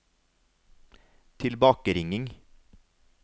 tilbakeringing